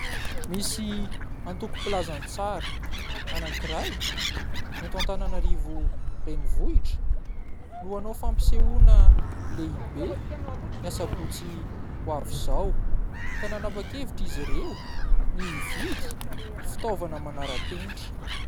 Misy antoko-pilazantsara anankiray eto Antananarivo renivohitra no hanao fampisehoana lehibe ny Asabotsy ho avy izao ka nanapa-kevitra izy ireo ny hividy fitaovana manara-penitra.